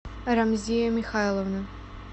рамзея михайловна